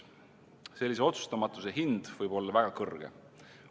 Sellise otsustamatuse hind võib olla väga kõrge.